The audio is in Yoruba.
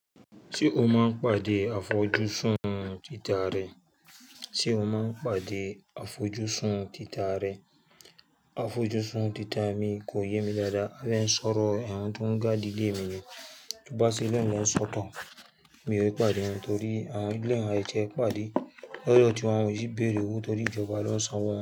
Se ó máa ń pàdé àfojúsùn títà rẹ̀? Àfojúsùn títà mi kò yé mi dáadáa. Abé sọ̀rọ̀ ẹ̀un tó ń ga dìlé mi ni tí bàásílónì lọ́ sọ̀tàn. Mi ò rí pàdé ẹun torí àwọn ilé ìwé àìtọ́ pàdé lọ́dọ̀ tí wọ́n ò sì béèrè owó torí ìjọba ló ń sanwo wọ́n.